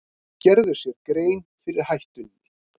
Gerðu sér grein fyrir hættunni